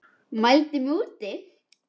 Mældi mig út.